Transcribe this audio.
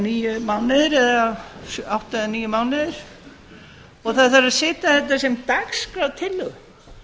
níu mánuðir eða átta til níu mánuðir og það þarf að setja þetta sem dagskrártillögu